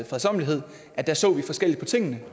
fredsommelighed at der så vi forskelligt på tingene